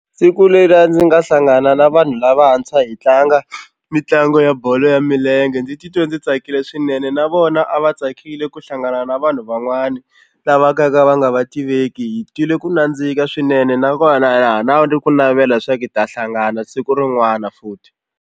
Siku leriya ndzi nga hlangana na vanhu lavantshwa hi tlanga mitlangu ya bolo ya milenge ndzi titwe ndzi tsakile swinene na vona a va tsakile ku hlangana na vanhu van'wani lava ka va nga va tiveki hi twile ku nandzika swinene nakona ha na ku navela swa ku hi ta hlangana siku rin'wana futhi.